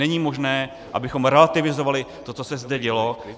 Není možné, abychom relativizovali to, co se zde dělo.